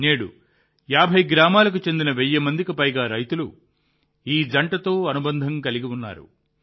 నేడు 50 గ్రామాలకు చెందిన 1000 మందికి పైగా రైతులు ఈ జంటతో అనుబంధం కలిగి ఉన్నారు